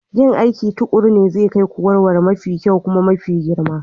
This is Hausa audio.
Yin aiki tuƙuru ne zai kai ku wurare mafi kyau kuma mafi girma.